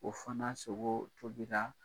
O fana sogo tobila